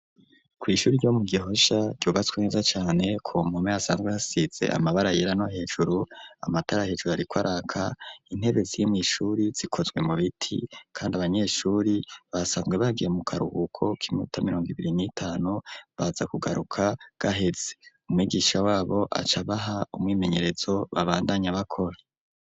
Kw'ihuri ryo mu Gihosha ryubatswe neza cane ko mpome hasanzwe hasize amabara yera no hejuru. Amatara hejuru ariko araka, intebe ziri mw'ishuri zikozwe mu biti, kandi abanyeshuri basanzwe bagiye mu karuhuko k'imota mirondo ibiri n'itanu, baza kugaruka gaheze. Umwigisha wabo acabaha umwimenyerezo babandanyabakora.